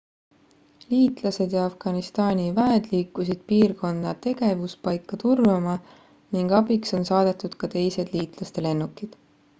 liitlased ja afganistani väed liikusid piirkonda tegevuspaika turvama ning abiks on saadetud ka teised liitlaste lennukid